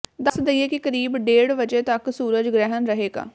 ਦਸ ਦਈਏ ਕਿ ਕਰੀਬ ਡੇਢ ਵਜੇ ਤੱਕ ਸੂਰਜ ਗ੍ਰਹਿਣ ਰਹੇਗਾ